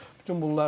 Bütün bunlardır.